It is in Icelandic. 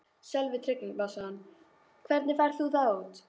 Sölvi Tryggvason: Hvernig færð þú það út?